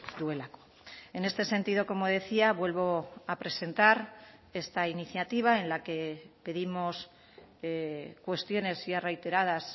duelako en este sentido como decía vuelvo a presentar esta iniciativa en la que pedimos cuestiones ya reiteradas